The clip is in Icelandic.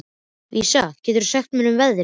Vísa, hvað geturðu sagt mér um veðrið?